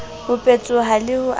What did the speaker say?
ho petsoha le ho epeha